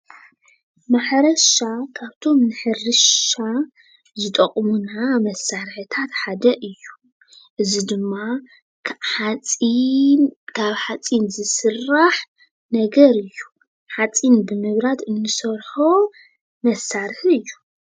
ማሕረሻ ካብቶም ንሕርሻ ዝጠቕሙና መሳርሕታት ሓደ እዩ፡፡ እዚ ድማ ሓፂን ካብ ሓፂን ዝስራሕ ነገር እዩ፡፡ ሓፂን ብምምራት ንሰርሖ መሳርሒ እዩ፡፡